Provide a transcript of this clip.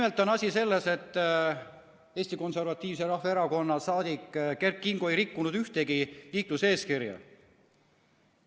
Asi on selles, et Eesti Konservatiivse Rahvaerakonna saadik Kert Kingo ei rikkunud ühtegi liikluseeskirja.